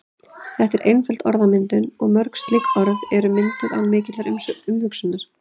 Þetta er einföld orðmyndun og mörg slík orð eru mynduð án mikillar umhugsunar.